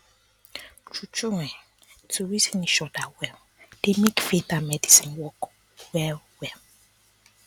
true true um to reason each other well dey make faith and medicine work well well